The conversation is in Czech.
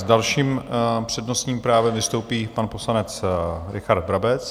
S dalším přednostním právem vystoupí pan poslanec Richard Brabec.